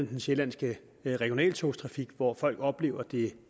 den sjællandske regionaltogstrafik hvor folk oplever at det er